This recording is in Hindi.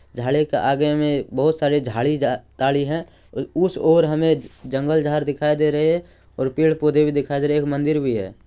झाड़ी के आगे मे बहोत सारे झाड़ी-ताड़ी है अ उस ओर हमे जंगल झाड़ दिखाई दे रहे है और पेड़-पौधे भी दिखाई दे रहे एक मंदिर भी है।